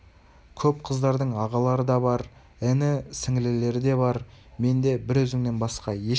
көп қыздардың ағалары да бар іні-сіңлілері де бар менде бір өзіңнен басқа ешкім жоқ